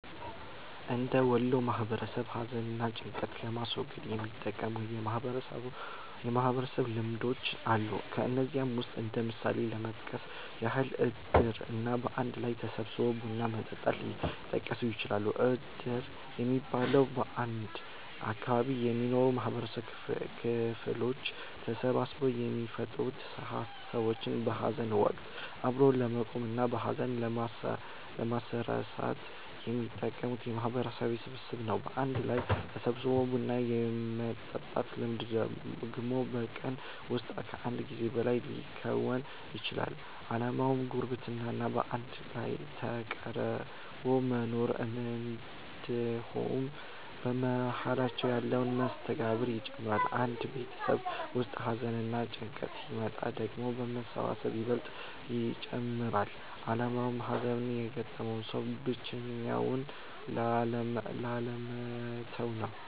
እንደ ወሎ ማህበረሰብ ሀዘን እና ጭንቀትን ለማስወገድ የሚጠቅሙ የማህበረሰብ ልምዶች አሉ። ከነዚህም ውስጥ እንደ ምሳሌ ለመጥቀስ ያህል እድር እና በአንድ ላይ ተሰባስቦ ቡና መጠጣት ሊጠቀሱ ይችላሉ። እድር የሚባለው፤ በአንድ አካባቢ የሚኖሩ የማህበረሰብ ክፍሎች ተሰባስበው የሚፈጥሩት ሰዎችን በሀዘን ወቀት አብሮ ለመቆም እና ሀዘናቸውን ለማስረሳት የሚጠቅም የማህበረሰብ ስብስብ ነው። በአንድ ላይ ተሰባስቦ ቡና የመጠጣት ልምድ ደግሞ በቀን ውስጥ ከአንድ ጊዜ በላይ ሊከወን ይችላል። አላማውም ጉርብትና እና በአንድ ላይ ተቀራርቦ መኖርን እንድሁም በመሃላቸው ያለን መስተጋብር ይጨምራል። አንድ ቤተሰብ ውስጥ ሀዘንና ጭንቀት ሲመጣ ደግሞ መሰባሰቡ ይበልጥ ይጨመራል አላማውም ሀዘን የገጠማቸውን ሰዎች ብቻቸውን ላለመተው ነው።